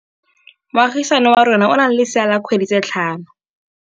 Moagisane wa rona o na le lesea la dikgwedi tse tlhano.